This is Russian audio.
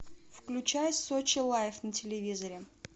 включай сочи лайф на телевизоре